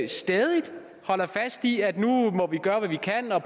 stædigt holder fast i at nu må vi gøre hvad vi kan og